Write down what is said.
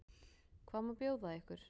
Hvað má bjóða ykkur?